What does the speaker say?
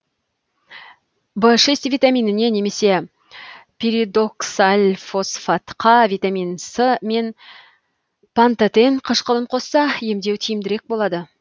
в шесть витаминіне немесе пиридоксальфосфатқа витамин с мен пантотен қышқылын қосса емдеу тиімдірек болады